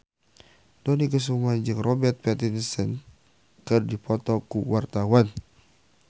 Dony Kesuma jeung Robert Pattinson keur dipoto ku wartawan